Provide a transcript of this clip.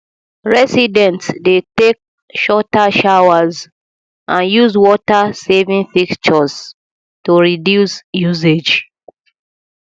residents dey take shorter showers and use watersaving fixtures to reduce usage